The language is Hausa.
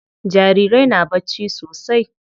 Jarirai na bacci sosai.